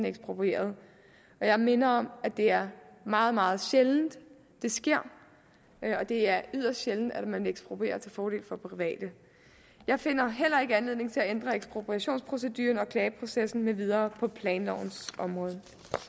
eksproprieret jeg minder om at det er meget meget sjældent det sker det er yderst sjældent at man eksproprierer til fordel for private jeg finder heller ikke anledning til at ændre ekspropriationsproceduren og klageprocessen med videre på planlovens område